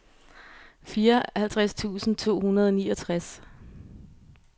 fireoghalvtreds tusind to hundrede og niogtres